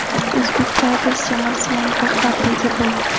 Uzbek Tigers jamoasi yangi rahbarga ega bo‘ldi.